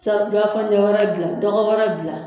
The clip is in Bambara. wɛrɛ dilan dɔgɔ wɛrɛ dilan